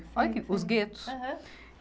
os guetos. Aham